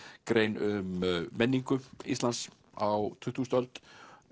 grein um menningu Íslands á tuttugustu öld